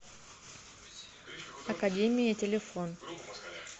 академия телефон